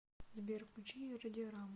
сбер включи радиорама